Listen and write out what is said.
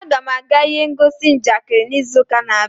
Aga m aga ihe ngosi njakịrị n'izu na-abịa.